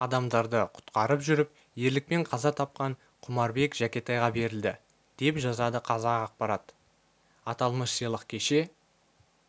адамдарды құтқарып жүріп ерлікпен қаза тапқан құмарбек жәкетайға берілді деа жазады қазақпарат аталмыш сыйлық кеше